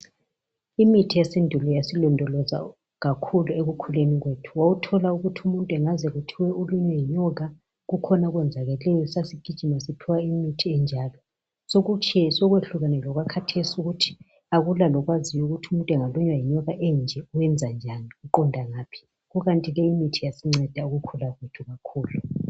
Imithi yesintu yasilondoloza kakhulu ekukhuleni kwethu wawuthola ukuthi umuntu engaze kuthiwe ulunywe yinyoka kukhona okwenzakeleyo sasigijima siphiwa imithi enjalo sekuhlukene lokwakhathesi ukuthi akula okwazi ukuthi umuntu engalunywa yinyoka enje uyenza njani uqonda ngaphi. Ikanti ke imithi yasinceda ukukhula kwethu kakhulu.